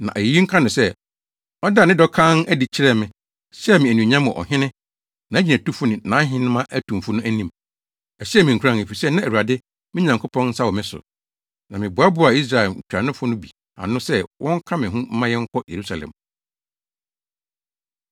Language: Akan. Na ayeyi nka no sɛ, ɔdaa ne dɔ kann adi kyerɛɛ me, hyɛɛ me anuonyam wɔ ɔhene, nʼagyinatufo ne nʼahenemma atumfo no anim. Ɛhyɛɛ me nkuran, efisɛ na Awurade, me Nyankopɔn, nsa wɔ me so. Na meboaboaa Israel ntuanofo no bi ano sɛ wɔnka me ho mma yɛnkɔ Yerusalem.